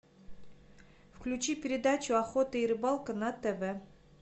включи передачу охота и рыбалка на тв